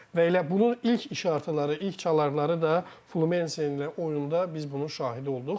Və elə bunun ilk işartıları, ilk çalarları da Fluminese ilə oyunda biz bunun şahidi olduq.